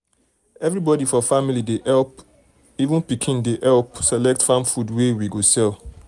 everybody for family dey help — even pikin dey help select farm food wey we go sell.